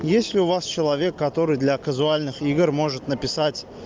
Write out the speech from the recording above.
есть ли у вас человек который для казуальных игр может написать